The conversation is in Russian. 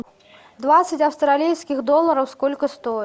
двадцать австралийских долларов сколько стоит